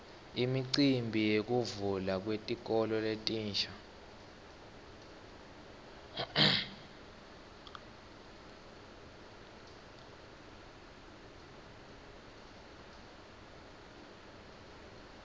imicimbi yekuvulwa kwetikolo letintsa